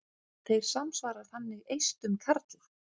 Þeir samsvara þannig eistum karla.